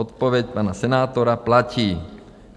Odpověď pana senátora: Platí.